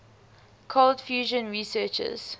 cold fusion researchers